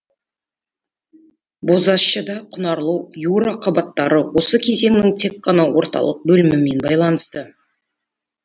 бозащыда құнарлы юра қабаттары осы кезеңнің тек қана орталық бөлімімен байланысты